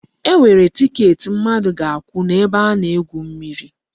E nwere tiket mmadụ ga-akwụ n'ebe a na-egwu mmiri.